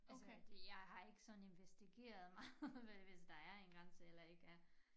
Altså jeg har ikke sådan investigeret meget med hvis der er en grænse eller ikke er